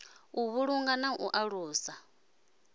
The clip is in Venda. u vhulunga na u alusa